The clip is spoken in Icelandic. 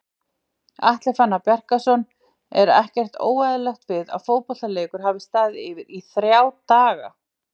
Atli Fannar Bjarkason Er ekkert óeðlilegt við að fótboltaleikur hafi staðið yfir í ÞRJÁ DAGA??